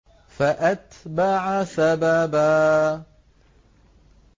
فَأَتْبَعَ سَبَبًا